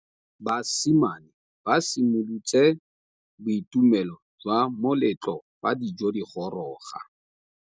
Basimane ba simolotse boitumêlô jwa moletlo fa dijo di goroga.